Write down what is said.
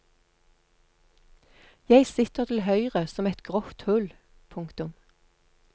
Jeg sitter til høyre som et grått hull. punktum